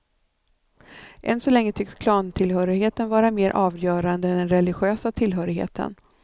Än så länge tycks klantillhörigheten vara mer avgörande än den religiösa tillhörigheten.